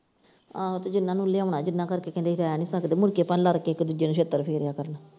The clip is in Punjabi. ਆਹੋ ਤੇ ਜਿਨ੍ਹਾਂ ਨੂੰ ਲਿਆਉਣਾ ਜਿਨ੍ਹਾਂ ਕਰਕੇ ਕਹਿੰਦੇ ਅਸੀਂ ਰਹਿ ਸਕਦੇ ਮੁੜ ਕੇ ਭਾਵੇਂ ਲੜ ਕੇ ਇੱਕ ਦੂਜੇ ਨੂੰ ਛਿੱਤਰ ਫੇਰਿਆ ਕਰਨ।